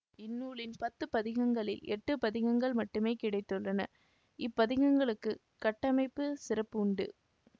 இந்நூலின் பத்து பதிகங்களில் எட்டு பதிகங்கள் மட்டுமே கிடைத்துள்ளன இப்பதிகங்களுக்கு கட்டமைப்புச் சிறப்பு உண்டு